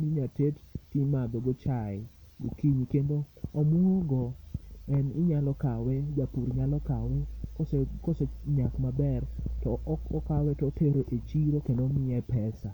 minyalo ted to imadho go chai gokinyi kendo omwogo japur nyalo kawe kose nyak maber okawe to otere e chiro kendo miye pesa.